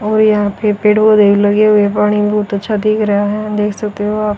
और यहां पे पेड़ पौधे लगे हुए है पाणि बहुत अच्छा दिख रहा है देख सकते हो आप--